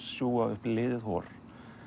sjúga upp liðið hor